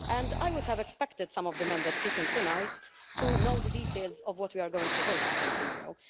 I would have expected some of the Members speaking tonight to know the details of what we are going to vote upon tomorrow.